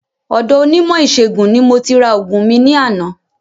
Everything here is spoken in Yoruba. Ọ̀do onímò ìsẹ̀gùn ni mo ti ra ògùn mi ní àná